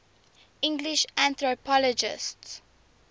english anthropologists